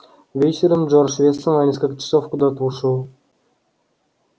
вечером джордж вестон на несколько часов куда-то ушёл